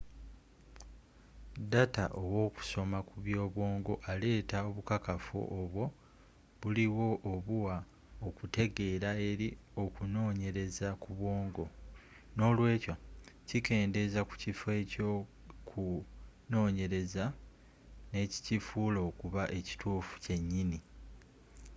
data w'okusoma ku byobwongo aleeta obukakafu obwo buliwo obuwa okutegeera eri okunonyereza ku bwongo nolwekyo kikendeza ku kifo ekyoku nonyereza nekikifuula okuba ekituufu kyenyini